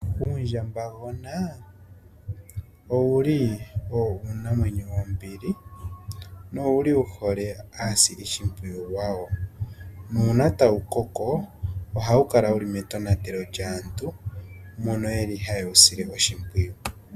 Uundjambagona owo uunamwenyo wombili na owu hole aasilishimpwiyu yawo. Uuna tawu koko oha wu kala wuli metonatelo lyaantu mbono yeli haye wu sile oshimpwiyu.